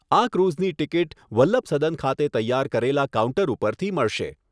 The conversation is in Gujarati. આ ક્રુઝની ટિકિટ વલ્લભસદન ખાતે તૈયાર કરેલા કાઉન્ટર ઉપરથી મળશે.